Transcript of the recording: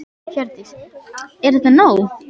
Hjördís: Er það nóg?